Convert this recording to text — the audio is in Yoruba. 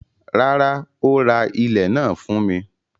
Rárá, ó ra ilẹ̀ náà fún mi.